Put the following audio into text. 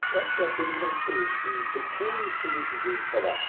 Então, acho que é apenas uma referência, um pequeno instrumentozinho de trabalho.